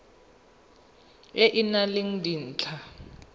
e e nang le dintlha